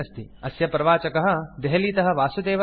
अस्य प्रवाचकः देहलीतः वासुदेवः अस्ति